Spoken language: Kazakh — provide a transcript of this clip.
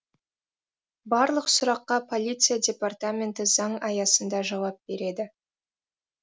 барлық сұраққа полиция департаменті заң аясында жауап береді